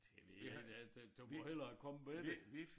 Det ved jeg ikke at at du må hellere komme med det